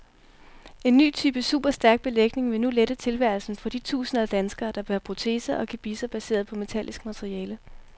En ny type superstærk belægning vil nu lette tilværelsen for de tusinder af danskere, der bærer proteser og gebisser baseret på metallisk materiale.